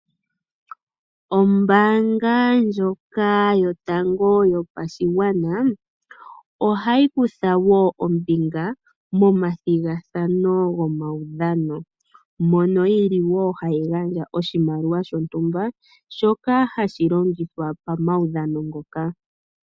Ombaanga ndjoka yotango yopashigwana, ohayi kutha wo ombinga momathigathano gomaudhano, mono hayi gandja oshimaliwa shontumba shoka hashi longithwa pomaudhano ngoka.